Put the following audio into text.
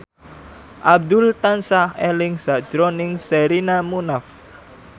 Abdul tansah eling sakjroning Sherina Munaf